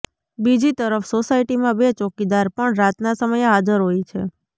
બીજી તરફ સોસાયટીમાં બે ચોકીદાર પણ રાતના સમયે હાજર હોય છે